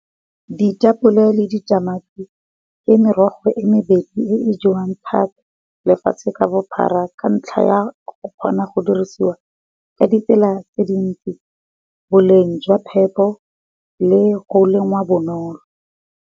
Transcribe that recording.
Di tapole le di tamati ke merogo e mebedi e jewang thata lefatshe ka bophara ka ntlha ya o kgona go dirisiwa ka ditsela tse dintsi, boleng jwa phepo le go lengwa bonolo.